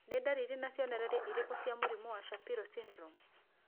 Nĩ ndariri na cionereria irĩkũ cia mũrimũ wa Shapiro syndrome?